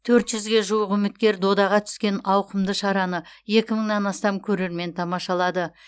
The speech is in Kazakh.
төрт жүзге жуық үміткер додаға түскен ауқымды шараны екі мыңнан астам көрермен тамашалады